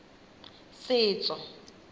setso